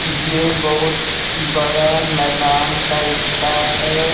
ये बहुत बड़ा मैदान टाइप का है।